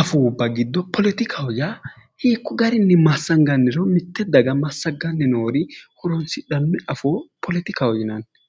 afuubba giddo polotikaho yaa hiikko garinni massanganniro, mitte daga massaganni noo noori horonsidhanno afoo polotikaho yinanni.